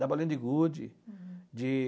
da Bolinha de Gude. De